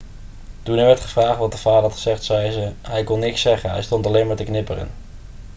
toen er werd gevraagd wat de vader had gezegd zei ze: 'hij kon niks zeggen. hij stond alleen maar te knipperen.'